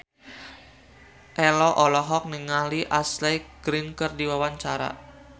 Ello olohok ningali Ashley Greene keur diwawancara